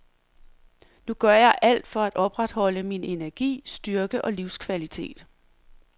Nu gør jeg alt for at opretholde min energi, styrke og livskvalitet.